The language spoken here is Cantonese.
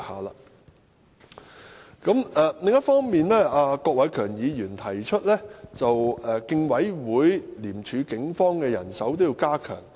另一方面，郭偉强議員提出要加強競爭事務委員會、廉政公署和警方的人手。